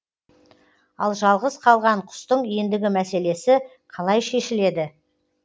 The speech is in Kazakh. ал жалғыз қалған құстың ендігі мәселесі қалай шешіледі